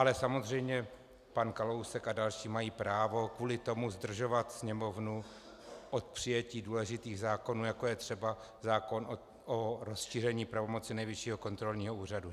Ale samozřejmě pan Kalousek a další mají právo kvůli tomu zdržovat Sněmovnu od přijetí důležitých zákonů, jako je třeba zákon o rozšíření pravomocí Nejvyššího kontrolního úřadu.